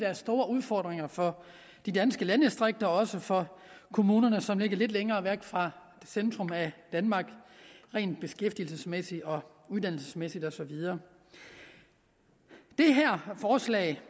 er store udfordringer for de danske landdistrikter og også for kommuner som ligger lidt længere væk fra centrum af danmark rent beskæftigelsesmæssigt uddannelsesmæssigt og så videre det her forslag